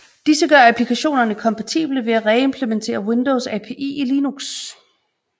Disse gør applikationerne kompatible ved at reimplementere Windows API i Linux